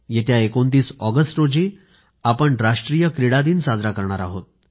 येत्या 29 ऑगस्ट रोजी आपण राष्ट्रीय क्रीडा दिन साजरा करणार आहोत